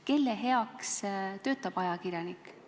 Kelle heaks töötab ajakirjanik?